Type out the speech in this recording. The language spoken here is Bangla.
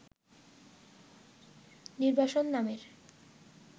'নির্বাসন' নামের